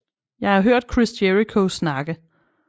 Jeg har hørt Chris Jericho snakke